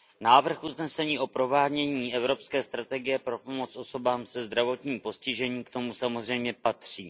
Návrh usnesení o provádění Evropské strategie pro pomoc osobám se zdravotním postižením k tomu samozřejmě patří.